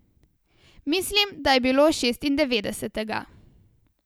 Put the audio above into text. Mislim, da je bilo šestindevetdesetega.